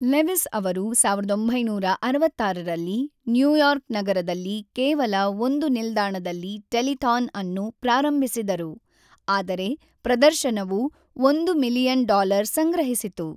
Lewis ಅವರು ೧೯೬೬ ರಲ್ಲಿ New York ನಗರದಲ್ಲಿ ಕೇವಲ ಒಂದು ನಿಲ್ದಾಣದಲ್ಲಿ ಟೆಲಿಥಾನ್ ಅನ್ನು ಪ್ರಾರಂಭಿಸಿದರು, ಆದರೆ ಪ್ರದರ್ಶನವು $೧ ಮಿಲಿಯನ್ ಸಂಗ್ರಹಿಸಿತು.